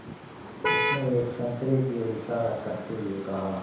उसने एक संतरे की ओर इशारा करते हुए कहा